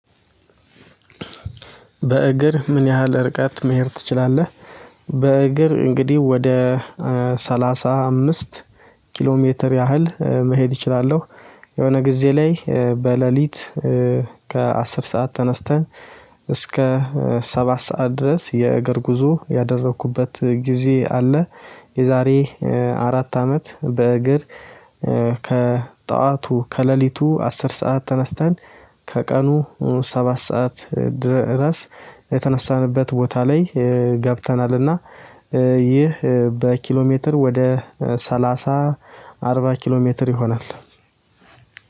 በእግር ምን ያህል ርቀት መሄድ ትችላለህ? በእግር እንግዲህ ወደ ሰላሳ አምስት ኪሎ ሜትር ያህል መሄድ እችላለሁ። የሆነ ጊዜ ላይ በሌሊት ከአስር ሰዓት ተነስተን እስከ ሰባት ሰዓት ድረስ የእግር ጉዞ ያደረኩበት ጊዜ አለ። የዛሬ አራት አመት በእግር ከጠዋቱ ከሌሊቱ አስር ሰዓት ተነስተን ከቀኑ ሰባት ሰዓት ድረስ የተነሳንበት ቦታ ላይ ገብተናልና። ይህ በኪሎ ሜትር ወደ ሰላሳ አርባ ኪሎ ሜትር ይሆናል።